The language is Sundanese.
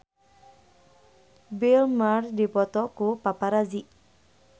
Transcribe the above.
Bill Murray dipoto ku paparazi